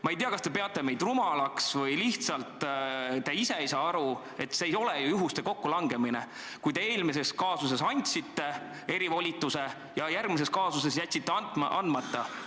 Ma ei tea, kas te peate meid rumalaks või te lihtsalt ise ei saa aru, et see ei ole ju juhuste kokkulangemine, kui te ühes kaasuses andsite erivolituse ja järgmises kaasuses jätsite andmata.